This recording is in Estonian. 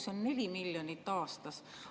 See on 4 miljonit aastas.